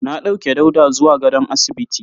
Na dauke Dauda zuwa gadon asibiti.